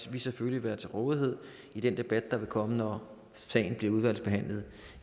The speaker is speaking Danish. vil selvfølgelig være til rådighed i den debat der vil komme når sagen bliver udvalgsbehandlet